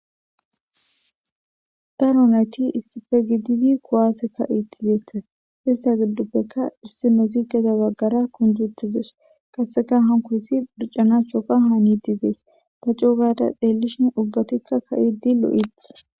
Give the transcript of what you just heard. Ta roneti issife gididi kowaaseka iitti deeta hista gidduppekka issi no zigeza baggara kunjutidus qatseka hankosi mircanaachchoka haaniti dees ta cougada deellishin ubbatikka ka7idi lo7ith.